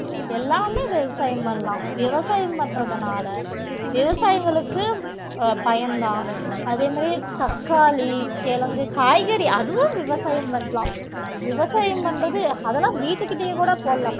எல்லாமே விவசாயம் பண்ணலாம் விவசாயம் பண்றதுனால விவசாயிகளுக்கு அஹ் பயன்தான் அதே மாதிரி தக்காளி, கிழங்கு, காய்கறி அதுவும் விவசாயம் பண்ணலாம் விவசாயம் பண்றது அதெல்லாம் வீட்டுக்கிட்டயே கூட போடலாம்